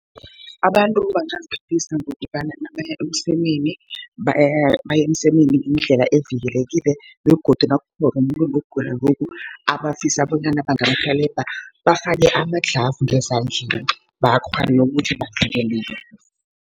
Abantu bangaziphephisa ngokobana nabaya emsemeni baye emsemeni ngendlela evikelekileko, begodu nakukhona umuntu onokugula lokhu abafisa bonyana bangamrhelebha, bafake amadlhavu ezandleni, bakghone ukuthi bavikeleke.